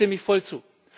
Dem stimme ich voll zu.